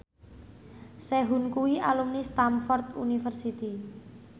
Sehun kuwi alumni Stamford University